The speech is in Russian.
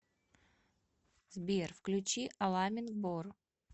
сбер включи аламин бор